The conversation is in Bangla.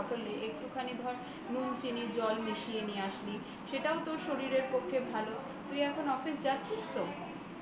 bottle এ একটুখানি ধর নুন চিনির জল মিশিয়ে নিয়ে আসলি সেটাও তোর শরীরের পক্ষে ভালো তুই এখন office যাচ্ছিস তো